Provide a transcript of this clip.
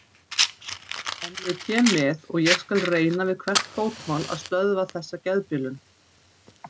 En ég kem með og ég skal reyna við hvert fótmál að stöðva þessa geðbilun